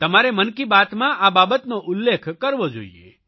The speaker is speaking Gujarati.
તમારે મન કી બાતમાં આ બાબતનો ઉલ્લેખ કરવો જોઇએ